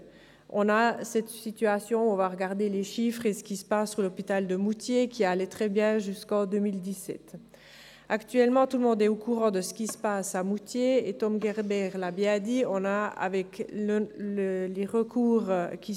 Es handelt sich um eine Malerklasse der GewerblichIndustriellen Berufsschule Bern (Gibb) unter der Leitung von Frau Maria Jans.